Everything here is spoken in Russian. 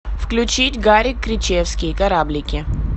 включить гарик кричевский кораблики